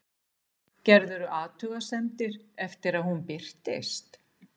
Gerðirðu athugasemdir eftir að hún birtist?